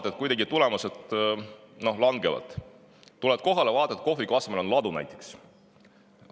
Siis vaatad, et tulemused kuidagi langevad, tuled kohale ja näed, et kohviku asemel on näiteks ladu.